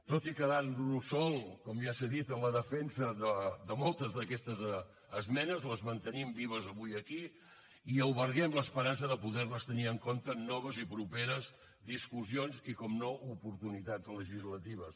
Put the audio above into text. tot i quedar nos sols com ja s’ha dit en la defensa de moltes d’aquestes esmenes les mantenim vives avui aquí i alberguem l’esperança de poder les tenir en compte en noves i properes discussions i per descomptat oportunitats legislatives